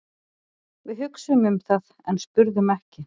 Við hugsuðum um það en spurðum ekki.